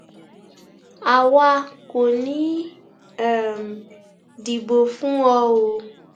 àwa kò ní í um dìbò fún ọ o